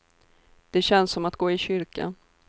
Det känns som att gå i kyrkan.